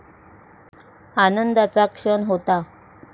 आनंदाचा क्षण होता.